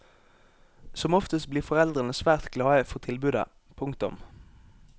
Som oftest blir foreldrene svært glade for tilbudet. punktum